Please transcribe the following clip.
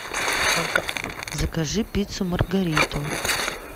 закажи пиццу маргариту